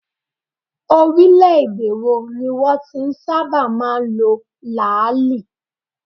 Orílẹ̀ - èdè wo ni wọn ti ń sábà máa ń lo làáàlì?